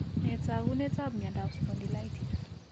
Nee taakunetab myondap spondylitis?